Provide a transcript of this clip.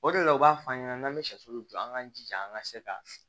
O de la u b'a f'an ɲɛnɛ n'an bɛ sɛsulu jɔ an k'an jija an ka se ka